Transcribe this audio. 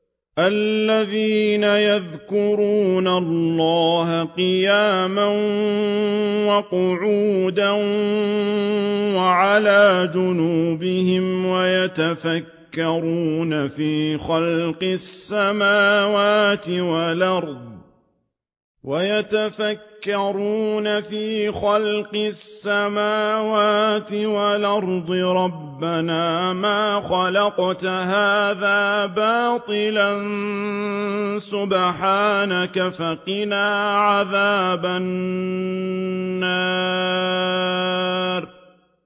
الَّذِينَ يَذْكُرُونَ اللَّهَ قِيَامًا وَقُعُودًا وَعَلَىٰ جُنُوبِهِمْ وَيَتَفَكَّرُونَ فِي خَلْقِ السَّمَاوَاتِ وَالْأَرْضِ رَبَّنَا مَا خَلَقْتَ هَٰذَا بَاطِلًا سُبْحَانَكَ فَقِنَا عَذَابَ النَّارِ